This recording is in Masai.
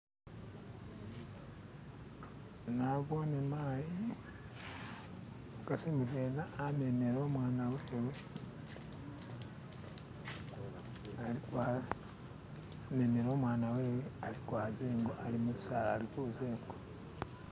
Naboone mayi umukasi mudwena amemile u'mwaana wewe aliko apo a'memele u'mwana we'we a'liko aza ingo ali mu bisaala ali kaza ingo.